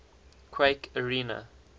quake arena